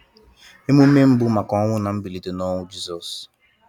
Emume mbụ maka ọnwụ na mbilite n'ọnwụ Jisọs